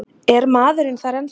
Er maðurinn þar ennþá?